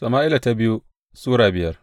biyu Sama’ila Sura biyar